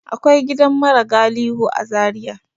Akwai gidan mara galihu a Zaria.